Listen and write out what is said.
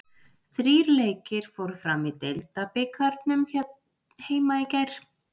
Þrír leikir fóru fram í deildabikarnum hér heima í gær.